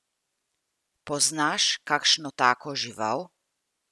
Poznaš kakšno tako žival?